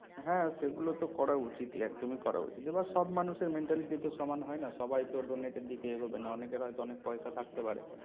হ্যাঁ সে গুলো তো করা উচিতই একদমই করা উচিত। এবার সব মানুষের mentality তো সমান হয় না । সবাই তো donate এর দিকে এগোবে না অনেকের হয়তো অনেক পয়সা থাকতে পারে